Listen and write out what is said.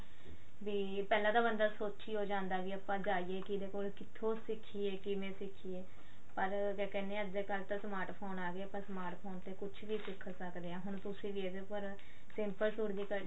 ਵੀ ਪਿਲਾਂ ਣ ਬੰਦਾ ਸੋਚੀ ਓ ਜਾਂਦਾ ਵੀ ਆਪਾਂ ਜਾਈਏ ਕਿਹਦੇ ਕੋਲ ਕਿੱਥੋਂ ਸਿੱਖੀਏ ਕਿਵੇਂ ਸਿੱਖੀਏ ਪਰ ਕਿਆ ਕਹਿੰਦੇ ਆ ਅੱਜਕਲ ਤਾਂ smart phone ਗਏ smart phone ਤੇ ਕੁੱਝ ਵੀ ਸਿੱਖ ਸਕਦੇ ਹਾਂ ਹੁਣ ਤੁਸੀਂ ਵੀ ਇਹਦੇ ਪਰ simple ਸੂਟ